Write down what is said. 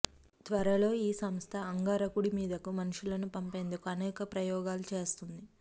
త్వరలో ఈ సంస్థ అంగారకుడి మీదకు మనుషులను పంపేందుకు అనేక ప్రయోగాలు చేస్తోంది